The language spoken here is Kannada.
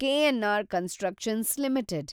KNR constructions limited